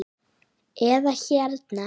eða hérna